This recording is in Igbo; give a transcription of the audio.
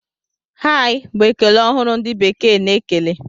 Hai! Bụ ekele ọhụrụ ndị bekee na-ekele.